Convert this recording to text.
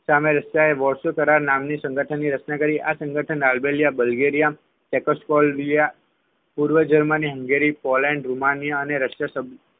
ની સામે રશિયાએ વૉટસકારક નામની સંગઠનની રચના કરી આ સંગઠનમાં અલબેલા બલ્ગેરિયા ટેટસકોલયા પૂર્વ જર્મની હંગેરી પોલેન્ડ અને રુમાનિયા અને રશિયાએ